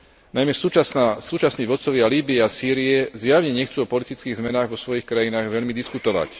Najmä súčasný vodcovia Lýbie a Sýrie zjavne nechcú o politických zmenách vo svojich krajinách veľmi diskutovať.